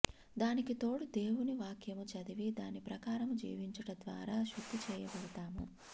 దానికి తోడు దేవుని వాక్యము చదివి దాని ప్రకారము జీవించుట ద్వారా శుద్ధి చేయబడతాము